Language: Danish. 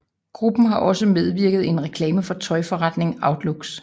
Gruppen har også medvirket i en reklame for tøjforretningen Outlooks